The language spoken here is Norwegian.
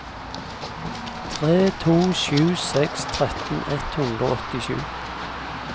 tre to sju seks tretten ett hundre og åttisju